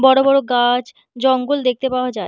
বড়ো গা-আছ জঙ্গল দেখতে পাওয়া যায়।